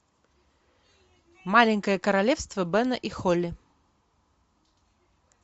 маленькое королевство бена и холли